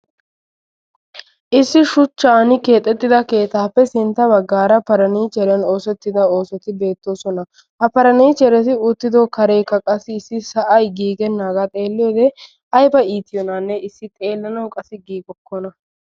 Issi shuchchappe keexxettida keettape sintta baggaara farnniicheriyan oosettida oosoti beetosona. Ha farnniichereka uttido kareka qassi issi sa'ay gigenaga xeeliyode ayba ittiyonane issi xeelanawu giigokona.